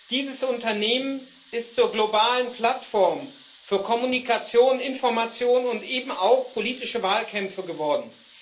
Dieses Unternehmen ist zur globalen Plattform für Kommunikation, Information und eben auch politische Wahlkämpfe geworden.